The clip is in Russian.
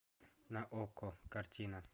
на окко картина